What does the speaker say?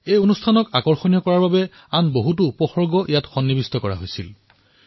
এই কাৰ্যসূচীক আকৰ্ষণীয় কৰি তোলাৰ বাবে বিভিন্ন পদক্ষেপ গ্ৰহণ কৰা হৈছিল